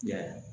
Ya